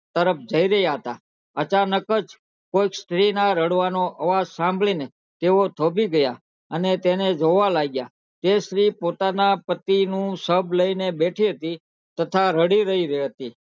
અચાનક જ કોઈ સ્ત્રી ના રડવાનો અવાજ આવ્યો અવાજ સાંભળી ને તે થોભી ગયા ને તેને જોવા લાગ્યા તે સ્ત્રી પોતાના પતિ નું સબ લઇ ને બેઠી હતી તથા રડી રહી હતી